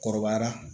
Kɔrɔbayara